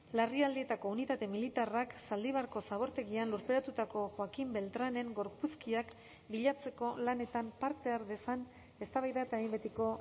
larrialdietako unitate militarrak zaldibarko zabortegian lurperatutako joaquín beltránen gorpuzkiak bilatzeko lanetan parte har dezan eztabaida eta behin betiko